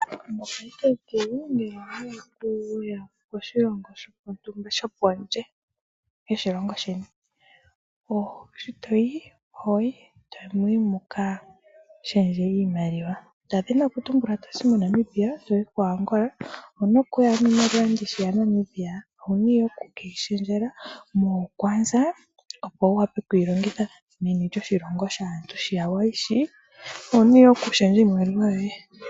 Mopaife ngeyi ngele owa hala okuya koshilongo shontumba shopondje yoshilongo sheni, shi to yi oho yi tamu yi mu ka shendje iimaliwa; nda dhini okutumbula oto zi moNamibia to yi ko Angola, owu na okuya niimaliwa ndi shi yaNambiia, owu na ihe oku ke yi shendja moonkwanza, opo wu wape oku ke yi longitha meni lyoshilongo shaantu shi ya wa yi shii. Owu na ihe okushendja iimaliwa yoye.